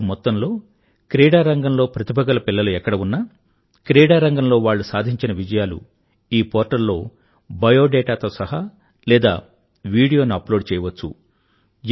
దేశం మొత్తం లో క్రీడారంగంలో ప్రతిభ గల పిల్లలు ఎక్కడ ఉన్నా క్రీడారంగంలో వాళ్ళు సాధించిన విజయాలు ఈ పోర్టల్ లో బయోడేటాతో సహా లేదా విడియో ను అప్లోడ్ చేయవచ్చు